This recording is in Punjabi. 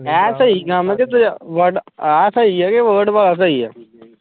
ਇਹ ਸਹੀ ਕੰਮ ਤੇ ਦੂਜਾ word ਇਹ ਸਹੀ ਆ ਕੇ word ਵਾਲਾ ਸਹੀ ਆ।